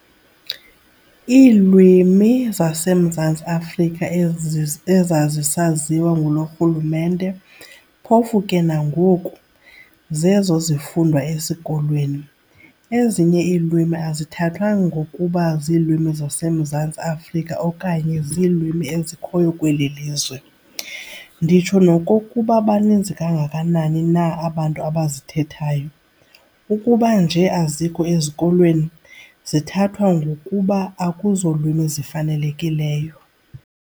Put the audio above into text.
Iilwimi zaseMzantsi Afrika ezazisaziwa nguloo rhulumente, phofu ke nangoku, zezo zifundwa esikolweni, ezinye ilwimi azithathwa ngokuba ziilwimi zaseMzantsi Afrika okanye ziilwimi ezikhoyo kweli lizwe, nditsho nokokuba baninzi kangakanani na abantu abazithethayo, ukuba nje azikho ezikolweni, zithathwa ngokuba akuzolwimi zifanelekileyo.